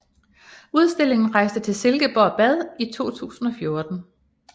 Udstillingen rejste til Silkeborg Bad i 2014